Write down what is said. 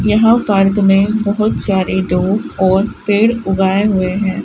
यहां पार्क में बहुत सारे दो और पेड़ उगाए हुए हैं।